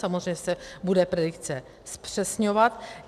Samozřejmě se bude predikce zpřesňovat.